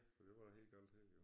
For det var da helt her galt jo